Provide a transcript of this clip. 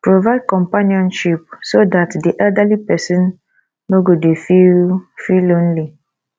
provide companionship so dat di elderly person no go dy feel feel lonely